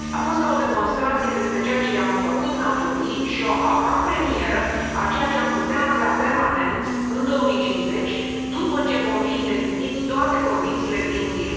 A fost ca o demonstrație despre ceea ce i am făcut naturii și o avanpremieră a ceea ce am putea avea permanent, în 2050, după ce vom fi îndeplinit toate condițiile Green Deal